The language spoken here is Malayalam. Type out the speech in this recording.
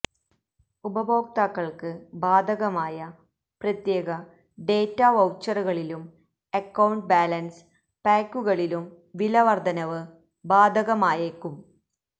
ഉപഭോക്താക്കൾക്ക് ബാധകമായ പ്രത്യേക ഡേറ്റാ വൌച്ചറുകളിലും അക്കൌണ്ട് ബാലൻസ് പായ്ക്കുകളിലും വിലവർധനവ് ബാധകമായേക്കും